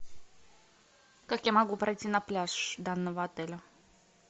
как я могу пройти на пляж данного отеля